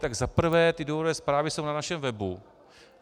Tak za prvé - ty důvodové zprávy jsou na našem webu.